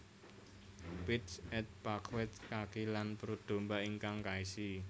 Pieds et Paquets kaki lan perut domba ingkang kaisi